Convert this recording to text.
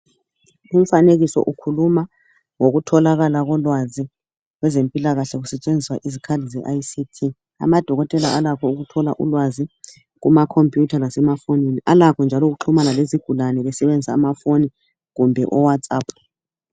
Umfanekiso ukhuluma ngokutholakala kolwazi kwezempilakahle kusetshenziswa Izikhali ze ICT .Amadokotela alakho ukuthola ulwazi Kuma computer lasema fonini . Alakho njalo ukuxhumana lezigulane besebenzisa amafoni kumbe owhatsap .